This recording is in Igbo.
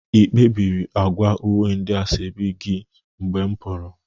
Ị kpebiri agwa uwe ndị asoebi gi mgbe m pụrụ?